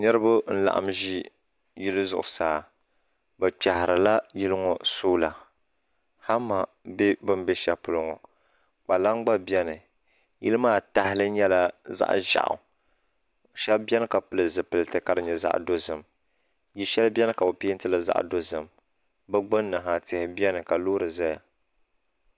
niraba n laɣam ʒi yili zuɣusaa bi kpiɣarila yili ŋɔ soola hama bɛ bi ni bɛ shɛli polo ŋɔ kpalaŋ gba biɛni yili maa tahali nyɛla zaɣ ʒiɛɣu shab biɛni ka pili zipiliti ka di nyɛ zaɣ dozim yili shɛli biɛni ka bi peentili zaɣ dozim bi gbunni ha tihi n biɛni ka loori ʒɛya